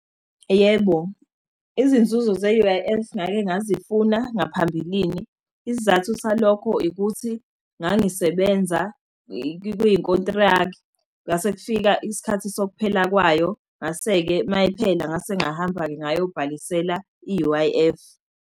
Yebo, izinzuzo ze-U_I_F ngake ngazifuna ngaphambilini. Isizathu salokho ikuthi ngangisebenza kwikhontrakthi, kwasekufika isikhathi sokuphela kwayo. Ngase-ke mayiphela, ngase ngahamba-ke ngayobhalisela i-U_I_F.